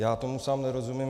Já tomu sám nerozumím.